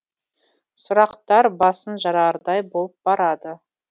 сұрақтар басын жарардай болып барады